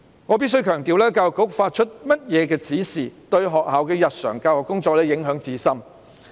我必須強調，教育局發出怎樣的指示，對學校的日常教育工作影響至深。